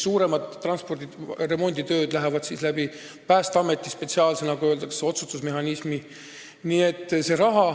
Suuremad remonditööd läbivad Päästeameti spetsiaalse otsustusmehhanismi.